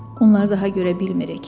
Onları daha görə bilmirik.